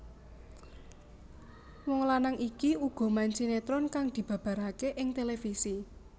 Wong lanang iki uga main sinetron kang dibabaraké ing televisi